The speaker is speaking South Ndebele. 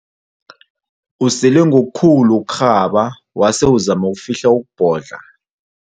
Usele ngokukhulu ukurhaba wase uzama ukufihla ukubhodla.